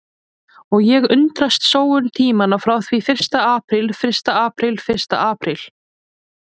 Og ég undrast sóun tímanna frá því fyrsta apríl fyrsta apríl fyrsta apríl.